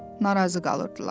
narazı qalırdılar.